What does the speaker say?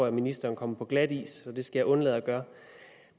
at ministeren kommer på glatis så det skal jeg undlade at gøre